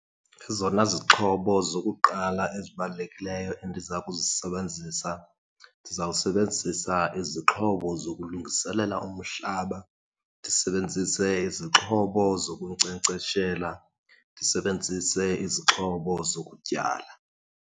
Ezona zixhobo zokuqala ezibalulekileyo endiza kuzisebenzisa, ndizawusebenzisa izixhobo zokulungiselela umhlaba, ndisebenzise izixhobo zokunkcenkceshela, ndisebenzise izixhobo zokutyala.